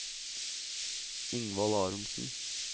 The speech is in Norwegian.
Ingvald Aronsen